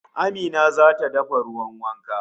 Amina zata dafa ruwan wankan